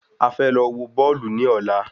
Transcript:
A fẹ́ lọ wọ Bọ́ọ̀lù ní ọ̀la